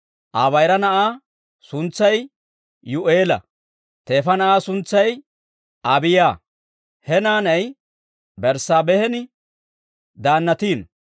Aa bayira na'aa suntsay Yuu'eela; teefa na'aa suntsay Abiiyaa; he naanay Berssaabeehan daannatiino.